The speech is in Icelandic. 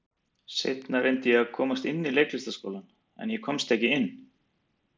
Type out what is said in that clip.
Þegar ég rís upp dettur stígvél ofan af skóhillu með bramli.